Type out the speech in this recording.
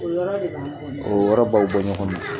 Yɔrɔ de b'aw bɔ ɲɔgɔn na o yɔrɔ b'aw bɔ ɲɔgɔna